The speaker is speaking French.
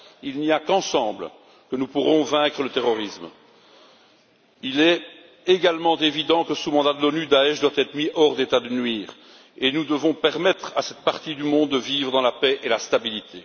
Il n'y a qu'ensemble que nous pourrons vaincre le terrorisme. Il est également évident que, sous mandat de l'ONU, Daech doit être mis hors d'état de nuire, et nous devons permettre à cette partie du monde de vivre dans la paix et la stabilité.